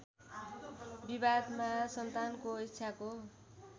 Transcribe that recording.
विवादमा सन्तानको इच्छाको